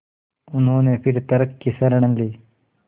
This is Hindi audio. उन्होंने फिर तर्क की शरण ली